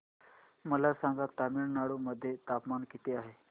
मला सांगा तमिळनाडू मध्ये तापमान किती आहे